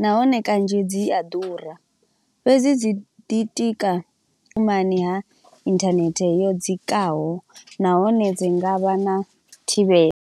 nahone kanzhi dzi a ḓura, fhedzi dzi ḓitika tumani ha internet yo dzikaho. Nahone dzi ngavha na thivhela.